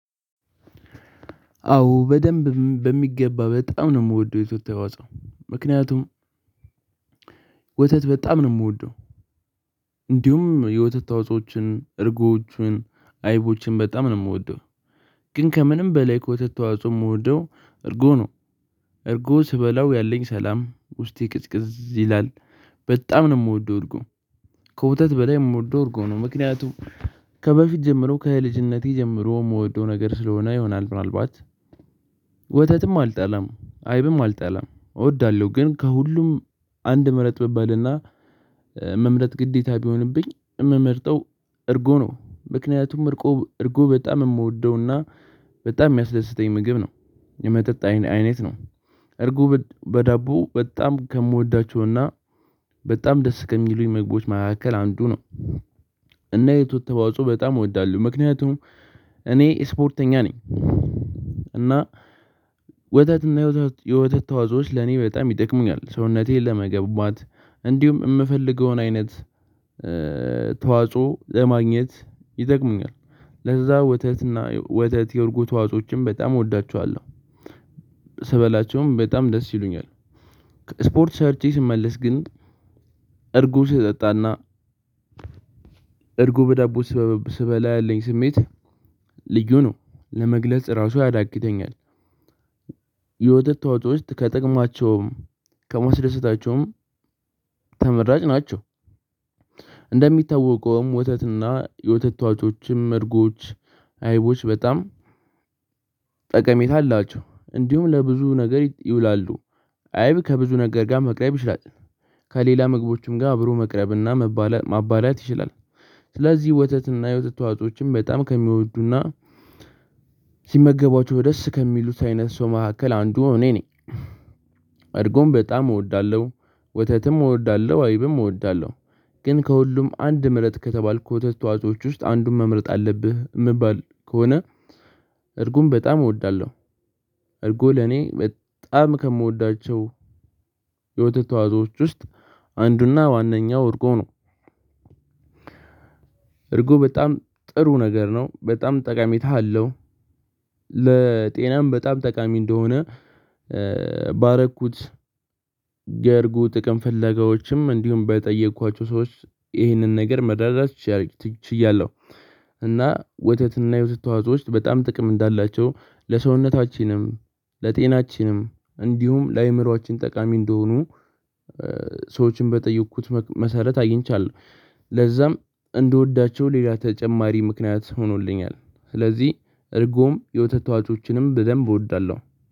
አዎ በደንብ በሚገባ በጣም ነው የምወደው የወተት ተዋጽኦ ምክንያቱም ወተት በጣም ነው የምወደው። እንዲሁም የወተት ተዋጽኦችን እርጎቹን አይቦችን በጣም ነው የምወደው። ግን ከምንም በላይ ከወተት ተዋጽኦ የምወደው እርጎ ነው። እርጎ ስበላው ያለኝ ሰላም ውስጤ ቅዝቅዝ ይላል በጣም ነው የምወደው እርጎ። ከወተት በላይ የምወደው እርጎ ነው። ምክንያቱም ከበፊት ጀምሮ ከልጅነቴ ጀምሮ የምወደው ነገር ስለሆነ ይሆናል ምናልባት ወተትም አልጣላም አይብም አልጣላም እወዳለሁ። ግን ከሁሉም አንድ ምረጥ ብባልና መምረጥ ግዴታ ቢሆንብኝ የምመርጠው እርጎ ነው። ምክንያቱም እርቆ እርጎ በጣም የምወደውና በጣም የሚያስደስተኝ ምግብ ነው። የመጠጥ አይ አይነት ነው። እርጉ በ በዳቦ በጣም ከምወዳቸውና በጣም ደስ ከሚሉኝ ምግቦች መካከል አንዱ ነው። እና የትውልት ተዋጽኦ በጣም እወዳለሁ ምክንያቱም እኔ ስፖርተኛ ነኝ። እና ወተትና የወተት የወተት ተዋጾዎች ለኔ በጣም ይጠቅሙኛል ሰውነቴን ለመገቡባት እንዲሁም የምፈልገውን አይነት ተዋጽኦ ለማግኘት ይጠቅሙኛል ለዛ ወተትና ወተት የእርጎ ተዋጽኦዎችን በጣም እወዳቸዋለሁ። ስበላቸውም በጣም ደስ ይሉኛል። ስፖርት ሰርቼ ስመለስ ግን እርጉ ስጠጣና እርጉ በዳቦ ስበላ ያለኝ ስሜት ልዩ ነው ለመግለጽ ራሱ ያዳግተኛል። የወተት ተዋጽኦች ከጥቅማቸውም ከማስደሰታቸውም ተመራጭ ናቸው። እንደሚታወቀውም ወተትና የወተት ተዋጮችም እርጎች አይቦች በጣም ጠቀሜታ አላቸው እንዲሁም ለብዙ ነገር ይውላሉ። አይብ ከብዙ ነገር ጋር መቅረብ ይችላል። ከሌላ መግቦችም ጋር አብሮ መቅረብና መባለ ማባላት ይችላል። ስለዚህ ወተት እና የወተት ተዋጽኦዎችን በጣም ከሚወዱና ሲመገቧቸው ደስ ከሚሉት አይነት ሰው መካከል አንዱ እኔ ነኝ። እርጎም በጣም እወዳለሁ ወተትም እወዳለሁ አይብም እወዳለሁ። ግን ከሁሉም አንድ ምረጥ ከተባልኩ ወተት ተዋጽኦዎች ውስጥ አንዱን መምረጥ አለብህ ምባል ከሆነ እርጉም በጣም እወዳለሁ። እርጉ ለኔ በጣም ከምወዳቸው የወተት ተዋጽኦዎች ውስጥ አንዱና ዋነኛው እርጎ ነው። እርጉ በጣም ጥሩ ነገር ነው በጣም ጠቃሚታ አለው። ለጤናም በጣም ጠቃሚ እንደሆነ ባረኩት የእርጉ ጥቅም ፍለጋዎችም እንዲሁም በጠየኳቸው ሰዎች ይህንን ነገር መረዳት ችያ ችያለሁ። እና ወተትና የተዋጽኦዎች በጣም ጥቅም እንዳላቸው ለሰውነታችንም ለጤናችንም እንዲሁም ለአእምሮአችን ጠቃሚ እንደሆኑ ሰዎችን በጠየኩት መክ መሰረት አግኝቻለሁ። ለዛም እንደወዳቸው ሌላ ተጨማሪ ምክንያት ሆኖልኛል። ስለዚህ እርጎም የወተት ተዋጽኦችንም በደንብ እወዳለሁ